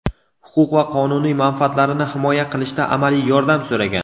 huquq va qonuniy manfaatlarini himoya qilishda amaliy yordam so‘ragan.